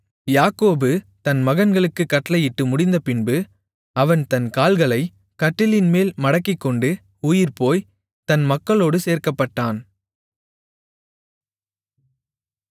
யாக்கோபு தன் மகன்களுக்குக் கட்டளையிட்டு முடிந்தபின்பு அவன் தன் கால்களைக் கட்டிலின்மேல் மடக்கிக்கொண்டு உயிர்போய் தன் மக்களோடு சேர்க்கப்பட்டான்